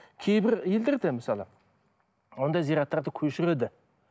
кейбір елдер де мысалы ондай зираттарды көшіреді